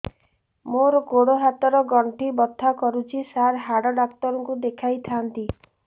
ମୋର ଗୋଡ ହାତ ର ଗଣ୍ଠି ବଥା କରୁଛି ସାର ହାଡ଼ ଡାକ୍ତର ଙ୍କୁ ଦେଖାଇ ଥାନ୍ତି